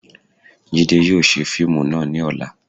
Jide yóò ṣe fiimú náá ni ọla